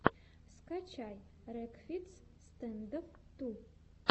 скачай рекфиц стэндофф ту